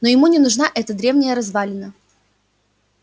но ему не нужна эта древняя развалина